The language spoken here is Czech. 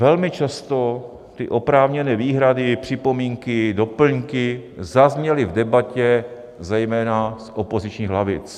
Velmi často ty oprávněné výhrady, připomínky, doplňky zazněly v debatě zejména z opozičních lavic.